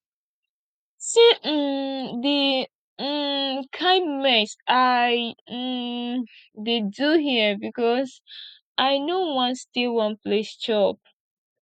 see um the um kin mess i um dey do here because i no wan stay one place chop